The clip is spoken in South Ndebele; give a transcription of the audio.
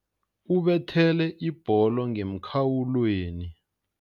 Ubethele ibholo ngemkhawulweni.